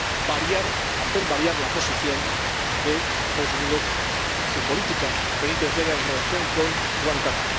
a hacer variar la posición de los Estados Unidos, su política penitenciaria en relación con Guantánamo.